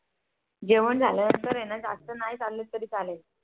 जेवण झाल्यावर जर जास्त नाही चाललं तरी चालेल